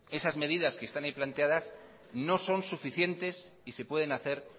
esas medidas que están ahí planteadas no son suficientes y se pueden hacer